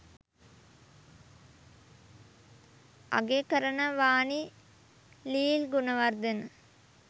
අගය කරනවානි ලීල් ගුණවර්ධන